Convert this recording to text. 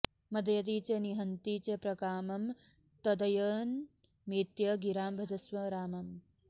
मदयति च निहन्ति च प्रकामं तदयनमेत्य गिरां भजस्व रामम्